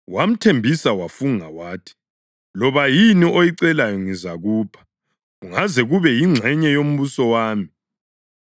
Wamthembisa wafunga wathi, “Loba yini oyicelayo ngizakupha kungaze kube yingxenye yombuso wami.”